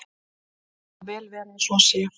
Það má vel vera að svo sé.